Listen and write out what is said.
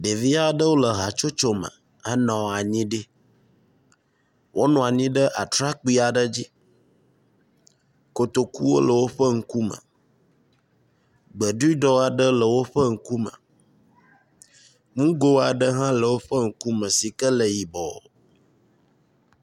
Ɖevi aɖewo le hatsotso me henɔ anyi ɖi wonɔ anyi ɖe atrakpui aɖe dzi, kotokuwo le woƒe ŋku me, gbeɖuɖɔ aɖe le woƒe ŋku me, ŋgo aɖe hã le woƒe ŋku me si ke le yibɔ